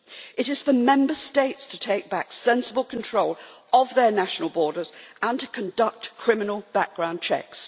It is for Member States to take back sensible control of their national borders and to conduct criminal background checks.